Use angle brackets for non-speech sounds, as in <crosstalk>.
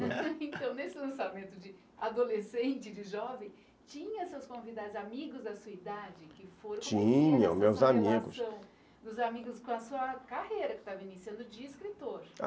<laughs> então, nesse lançamento de adolescentes e jovens, tinha <unintelligible> relação dos amigos <unintelligible> com a sua carreira, que estava iniciando de escritor.